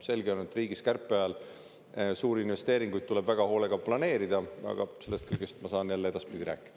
Selge see, et kärpe ajal tuleb riigi suuri investeeringuid väga hoolega planeerida, aga sellest kõigest ma saan jälle edaspidi rääkida.